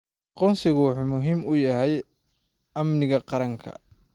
Aqoonsigu wuxuu muhiim u yahay amniga qaranka.